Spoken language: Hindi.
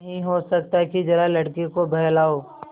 नहीं हो सकता कि जरा लड़के को बहलाओ